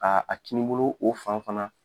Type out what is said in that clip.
Aa , a kinibolo o fan fana